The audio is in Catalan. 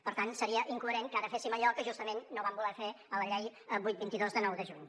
per tant seria incoherent que ara féssim allò que justament no vam voler fer a la llei vuit vint dos de nou de juny